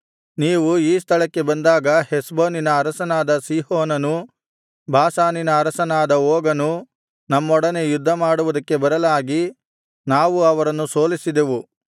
ನೀವು ಈ ಸ್ಥಳಕ್ಕೆ ಬಂದಾಗ ಹೆಷ್ಬೋನಿನ ಅರಸನಾದ ಸೀಹೋನನೂ ಬಾಷಾನಿನ ಅರಸನಾದ ಓಗನೂ ನಮ್ಮೊಡನೆ ಯುದ್ಧಮಾಡುವುದಕ್ಕೆ ಬರಲಾಗಿ ನಾವು ಅವರನ್ನು ಸೋಲಿಸಿದೆವು